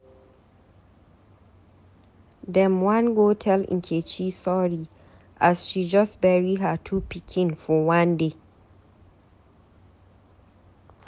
Dem wan go tell Nkechi sorry as she just bury her two pikin for one day.